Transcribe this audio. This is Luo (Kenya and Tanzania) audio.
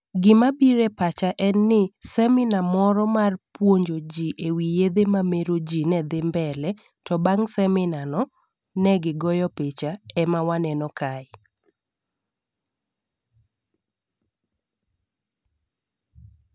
Gima bire pacha en ni seminar moro mar puonjo jii ewi yedhe mamero jii ne dhi mbele to bang' seminar no ne gigoyo picha ema waneno kae